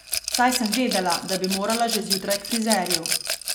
Saj sem vedela, da bi morala že zjutraj k frizerju.